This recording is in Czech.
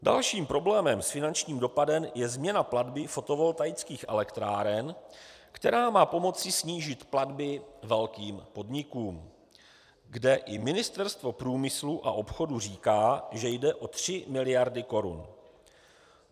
Dalším problémem s finančním dopadem je změna platby fotovoltaických elektráren, která má pomoci snížit platby velkým podnikům, kde i Ministerstvo průmyslu a obchodu říká, že jde o 3 miliardy korun.